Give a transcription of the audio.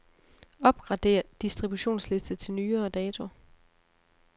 Opgrader distributionsliste til nyere dato.